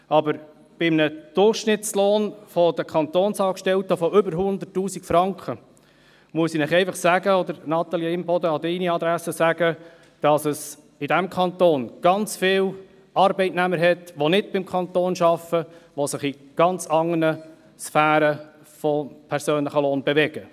Aber bei einem Durchschnittslohn der Kantonsangestellten von über 100 000 Franken, muss ich Ihnen oder an die Adresse von Natalie Imboden einfach sagen, dass es in diesem Kanton ganz viele Arbeitnehmer gibt, die nicht beim Kanton arbeiten und sich in ganz anderen Sphären von persönlichem Lohn bewegen.